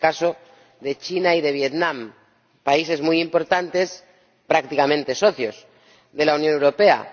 Es el caso de China y de Vietnam, países muy importantes, prácticamente socios de la Unión Europea.